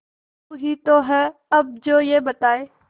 तू ही तो है अब जो ये बताए